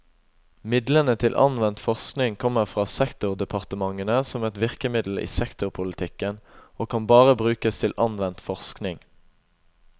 Midlene til anvendt forskning kommer fra sektordepartementene som et virkemiddel i sektorpolitikken, og kan bare brukes til anvendt forskning.